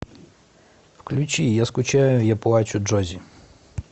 включи я скучаю я плачу джоззи